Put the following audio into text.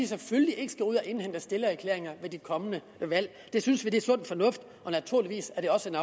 selvfølgelig ikke skal ud at indhente stillererklæringer ved de kommende valg det synes vi er sund fornuft og naturligvis er det også